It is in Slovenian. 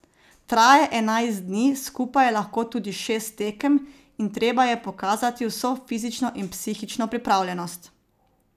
Traja enajst dni, skupaj je lahko tudi šest tekem, in treba je pokazati vso fizično in psihično pripravljenost.